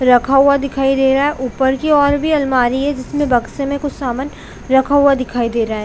रखा हुआ दिखाई दे रहा है ऊपर की ओर भी अलमारी है जिसमे बक्से मे कुछ सामान रखा हुआ दिखाई दे रहा है।